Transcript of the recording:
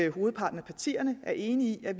hovedparten af partierne er enige i at